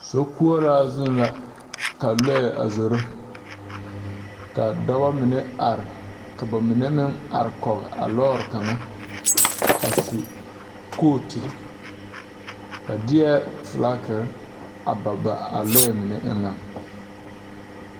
Sokoɔraa zu la ka lɔɛ a zoro kaa dɔbɔ mine are ka ba mine meŋ are kɔg a lɔɔre kaŋa a su kooturre ba deɛɛ flakerre a ba ba a lɔɛ mine eŋɛŋ.